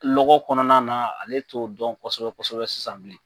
Lɔkɔ kɔnɔna na ale t'o dɔn kosɛbɛ kosɛbɛ sisan bilen